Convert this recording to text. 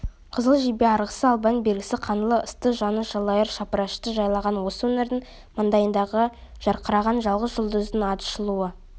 қызыл жебе арғысы албан бергісі қаңлы ысты жаныс жалайыр шапырашты жайлаған осы өңірдің маңдайдағы жарқыраған жалғыз жұлдызындай атышулы